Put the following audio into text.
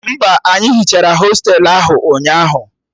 Mba, anyị hichara hostelu ahụ ụnyaahụ